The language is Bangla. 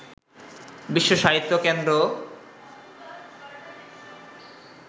বিশ্ব সাহিত্য কেন্দ্র